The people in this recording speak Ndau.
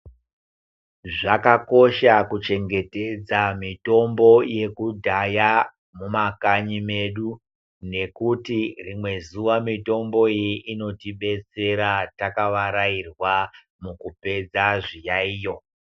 Zvakakosha kuchengetedza mitombo yekudhaya mumakanyi medu nekuti rimwe zuwa mitombo iyi inotibetsera takavarairwa mukupedza zviyaiyo.